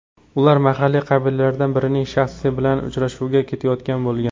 Ular mahalliy qabilalardan birining shayxi bilan uchrashuvga ketayotgan bo‘lgan.